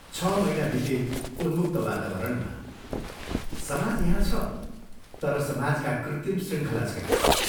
छ महीना बिते उन्मुक्त वातावरणमा समाज यहाँ छ तर समाजका कृत्रिम शृङ्खला छैनन्।